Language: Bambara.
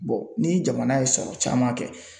ni jamana ye sɔrɔ caman kɛ.